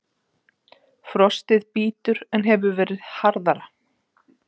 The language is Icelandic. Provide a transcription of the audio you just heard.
Frostið bítur en hefur verið harðara